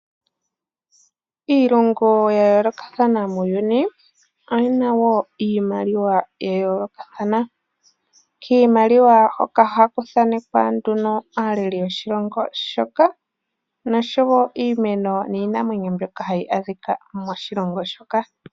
Iilongo ya yoolokathana muuyuni oyina wo iimaliwa ya yoolokathana, kiimaliwa hoka ohaku thaanekwa nduno aaleli yoshilongo shoka, noshowo iimeno niinamwenyo mbyoka hayi adhika moshilongo shoka.